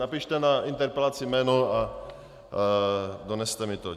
Napište na interpelaci jméno a doneste mi to.